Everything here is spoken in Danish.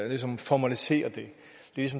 ligesom formalisere det